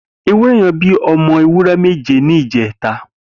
Éwùrẹ̀ yẹ̀n bi awọn ọmọ éwùrẹ̀ méjé nijẹ̀tá